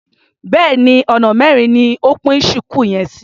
Béèni ọ̀nà mẹ́rin ni o pín ṣùkú yẹn sí.